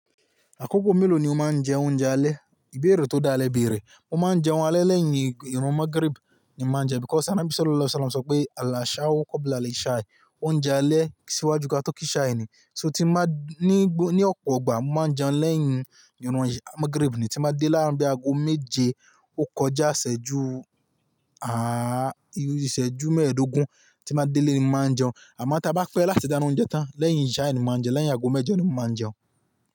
Akoko mélòó ni o máa ń jẹ oúnjẹ alẹ́? Ìbéèrè tó dáa, le bèèrè. Mo máa ń jẹun alẹ́ lẹ́yìn ìrọ̀ Magrib ni mo máa ń jẹun, because anabi Sallallahu alaihi Wasallam sọ pé, "Àlàṣàau kobla lishai." Oúnjẹ alẹ́ ṣíwájú kí a tó kí ishai ni. So tí n bá ní, ní ọ̀pọ̀ igbà, mo máa jẹun lẹ́yìn ìrun Magrib ni. Tí n bá dé láà-- bí ago méje, ó kọjá ìsẹ́jú, ìsẹ́jú mẹ́ẹ̀dógún tí n bá ti délẹ́ ni, mo máa jẹun. Àmọ́ ta bá pẹ́ láti dáná oúnjẹ tán lẹ́yìn ishai ni mo máa jẹun, lẹ́yìn ago mẹ́jọ ni mo máa n jẹun.